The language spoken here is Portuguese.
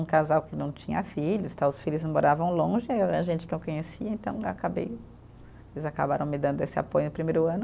Um casal que não tinha filhos tal, os filhos moravam longe, aí era gente que eu conhecia, então acabei, eles acabaram me dando esse apoio no primeiro ano.